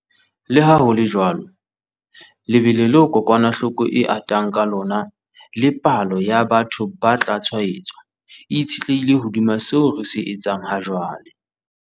Leha ho le jwalo, lebelo leo kokwanahloko e atang ka lona le palo ya batho ba tla tshwaetswa e itshetlehile hodima seo re se etsang hajwale.